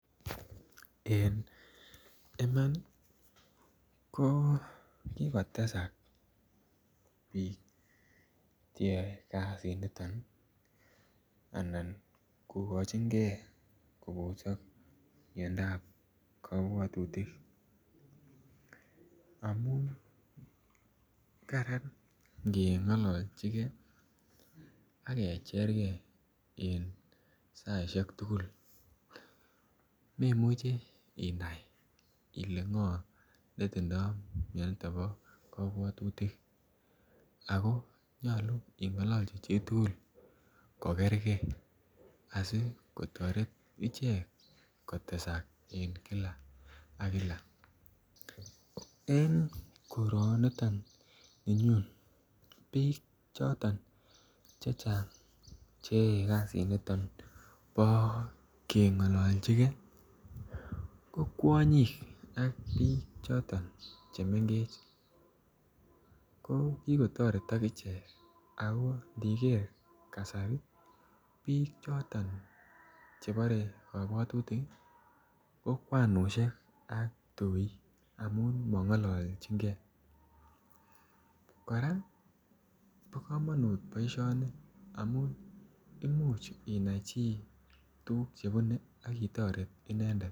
En Iman ko ki kotesak bik Che yoe kasiniton anan kokochingei kobosok miandap kabwatutik amun kararan ange ngololchige ak kecherengei en saisiek tugul memuche inai ile ngo ne tindoi mianito bo kabwatutik ako nyolu ingaloji chitugul kogerge asi kotoret ichek kotesak en kila ak kila en koroni ton ninyun ko bik choton Che Chang Che yaei kasiniton bo kengololchigei ko kwonyik ak bik choton Che mengech ko ki kotoretok ichek ako ndiger bik chechang kasari chebore miandap kabwatutik ko kwanisiek ak ptoik amun mongolchinge kora bo ko boisioni amun imuch inai chi tuguk chebune ak itoret inendet